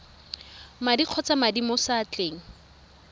madi kgotsa madi mo seatleng